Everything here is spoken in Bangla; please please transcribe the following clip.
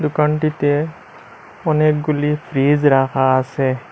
টনটিতে অনেকগুলি ফ্রিজ রাখা আসে।